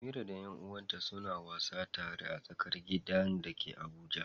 Amira da ƴan uwanta suna wasa tare a tsakar gidan da ke Abuja.